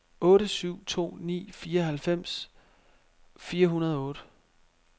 otte syv to ni fireoghalvfems fire hundrede og otte